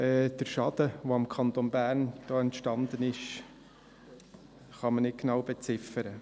Den Schaden, der dem Kanton Bern da entstanden ist, kann man nicht genau beziffern.